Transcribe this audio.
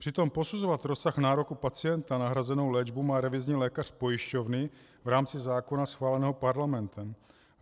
Přitom posuzovat rozsah nároku pacienta na hrazenou léčbu má revizní lékař pojišťovny v rámci zákona schváleného Parlamentem.